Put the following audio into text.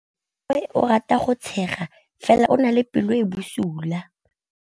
Malomagwe o rata go tshega fela o na le pelo e e bosula.